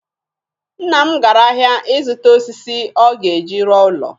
Nna m gara ahịa ịzụta osisi ọ ga-eji rụọ ụlọ.